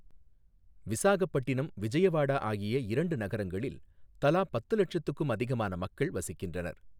விசாகப்பட்டினம், விஜயவாடா ஆகிய இரண்டு நகரங்களில் தலா பத்து லட்சத்துக்கும் அதிகமான மக்கள் வசிக்கின்றனர்.